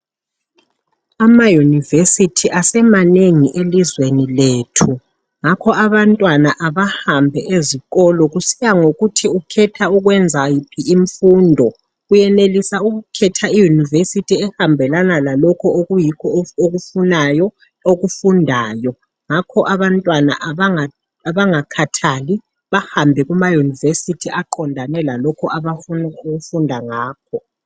Ama universities asemanengi elizweni lethu. Ngakho abantwana abahambe ezikolo kusiya ngokuthi ukhetha ukwenza iphi imfundo. Uyenelisa ukukhetha iuniversity ehambelana lalokhu okuyikho okufunayo okufundayo ngakho abantwana abangakhathali bahambe kuma university aqondane lalokho abafuna ukufunda ngakho.